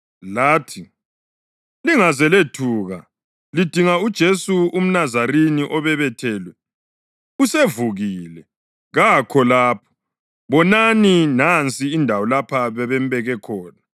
Lathi, “Lingaze lethuka. Lidinga uJesu umNazarini obebethelwe. Usevukile! Kakho lapha. Bonani, nansi indawo lapho bebembeke khona.